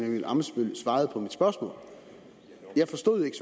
emil ammitzbøll svarede på mit spørgsmål jeg forstod ikke